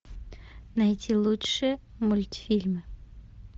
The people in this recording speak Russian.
найти лучшие мультфильмы